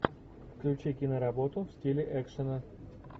включи киноработу в стиле экшена